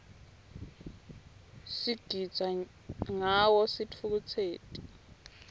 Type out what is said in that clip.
sigitsa ngawo sitfukutseti